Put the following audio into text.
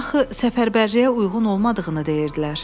Axı səfərbərliyə uyğun olmadığını deyirdilər.